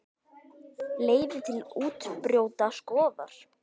Leiðir til úrbóta skoðar.